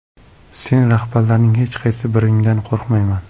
Sen rahbarlarning hech qaysi biringdan qo‘rqmayman!